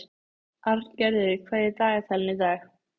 Arngerður, hvað er í dagatalinu í dag?